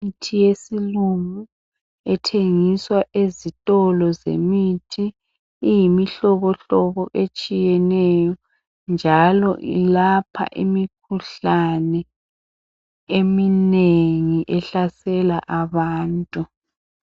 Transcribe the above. Imithi yesilungu ethengiswa ezitolo zemithi iyimihlobo hlobo etshiyeneyo njalo ilapha imikhuhlane eminengi ehlasela abantu.